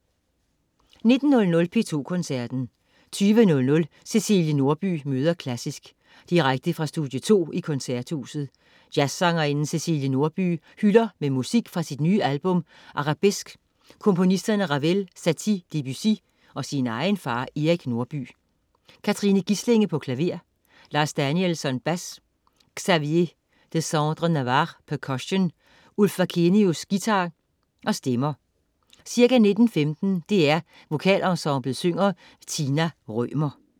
19.00 P2 Koncerten. 20.00 Cæcilie Nordby møder klassisk. Direkte fra Studie 2 i Koncerthuset. Jazzsangerinden Cæcilie Nordby hylder med musik fra sit nye album Arabesque komponisterne Ravel, Satie, Debussy og sin egen far Erik Norby. Katrine Gislinge, klaver. Lars Danielsson, bas. Xavier Desandre Navarre, percussion. Ulf Wakenius, guitar. Stemmer. Ca. 19.15 DR VokalEnsemblet synger. Tina Rømer